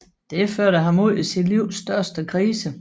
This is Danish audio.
Det førte ham ud i sit livs største krise